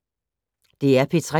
DR P3